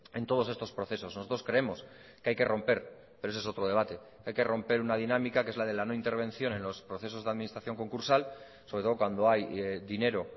en todos estos procesos nosotros creemos que hay que romper pero ese es otro debate hay que romper una dinámica que es la de la no intervención en los procesos de administración concursal sobre todo cuando hay dinero